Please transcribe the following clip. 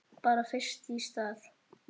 Bara fyrst í stað.